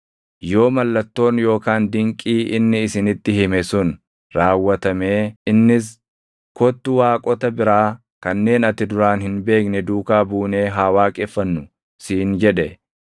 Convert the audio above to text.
yoo mallattoon yookaan dinqii inni isinitti hime sun raawwatamee innis, “Kottu waaqota biraa kanneen ati duraan hin beekne duukaa buunee haa waaqeffannu” siin jedhe,